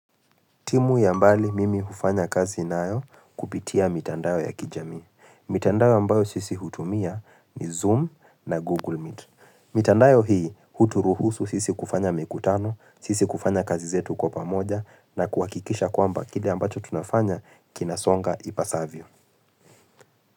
Timu ya mbali mimi hufanya kazi nayo kupitia mitandao ya kijami. Mitandao ambayo sisi hutumia ni Zoom na Google Meet. Mitandao hii huturuhusu sisi kufanya mikutano, sisi kufanya kazi zetu kwa pamoja na kuhakikisha kwamba kile ambacho tunafanya kinasonga ipasavyo.